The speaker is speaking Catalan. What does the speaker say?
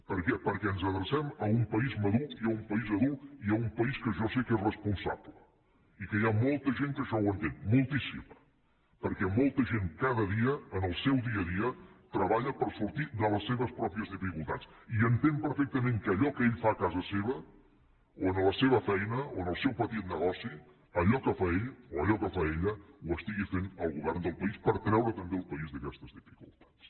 per què perquè ens adrecem a un país madur i a un país adult i a un país que jo sé que és responsable i que hi ha molta gent que això ho entén moltíssima perquè molta gent cada dia en el seu dia a dia treballa per sortir de les seves pròpies dificultats i entén perfectament que allò que ell fa a casa seva o en la seva feina o en el seu petit negoci allò que fa ell o allò que fa ella ho estigui fent el govern del país per treure també el país d’aquestes dificultats